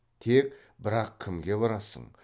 тек бірақ кімге барасың